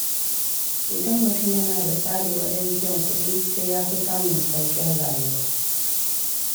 Idan mutum yana da tsari wajen biyan kuɗi, sai yafi samun sauƙin rayuwa.